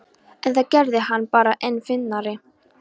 En það gerði hana bara enn fyndnari.